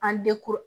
A